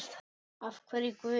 Af hverju Guð?